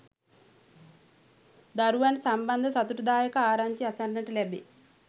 දරුවන් සම්බන්ධ සතුටුදායක ආරංචි අසන්නට ලැබේ.